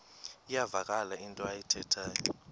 iyavakala into ayithethayo